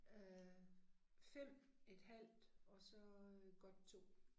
Øh 5 et halvt og så øh godt 2